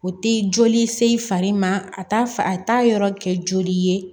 O tɛ joli se i fari ma a t'a fa a t'a yɔrɔ kɛ joli ye